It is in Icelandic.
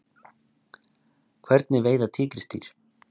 Hvernig veiða tígrisdýr?